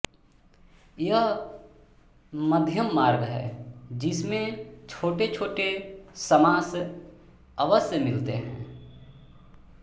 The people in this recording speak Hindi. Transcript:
यह मध्यममार्ग है जिसमें छोटेछोटे समास अवश्य मिलते हैं